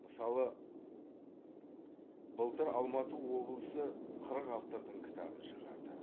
мысалы былтыр алматы облысы қырық автордың кітабын шығарды